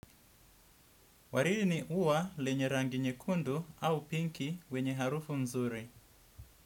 Wariri ni ua lenye rangi nyekundu au pinki wenye harufu nzuri.